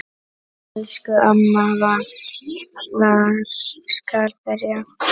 Elsku amma, hvar skal byrja?